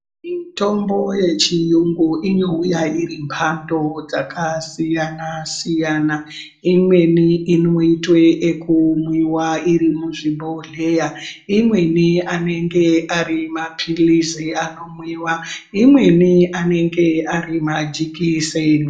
Mitombo yechiyungu inouya irimbato dzakasiyana siyana imweni inoitwe ekumwiwa irimuzvibhodhleya imweni anenge arimaphilizi anomwiwa, imweni anenge arimajekiseni.